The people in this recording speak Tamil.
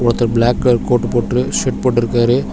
ஒருத்தர் பிளாக் கலர் கோட்டு போட்ரு ஷர்ட் போட்ருக்காரு.